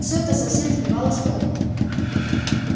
всё это совсем сбивало с толку